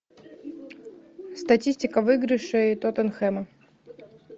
статистика выигрышей тоттенхэма